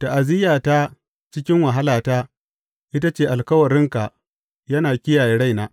Ta’aziyyata cikin wahalata ita ce alkawarinka yana kiyaye raina.